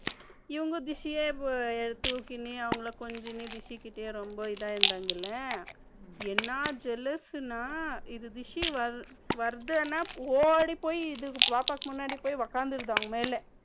இவங்க busy தூக்கினு அவங்கள கொஞ்சிட்டு rishi கிட்டரொம்ப இதுவா இருந்தாங்க இல்லையா என்ன jealous என்றால் இந்த rishi வருதுன்னா ஓடிப்போய் பாப்பாக்கு முன்னாடி போய் உக்காந்துருது அவங்க மேல